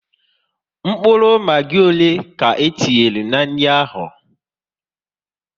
Mkpụrụ Magi ọle ka e tinyere n'nri ahụ?